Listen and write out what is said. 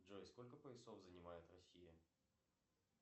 джой сколько поясов занимает россия